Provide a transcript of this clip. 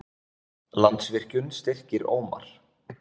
Landsvirkjun styrkir Ómar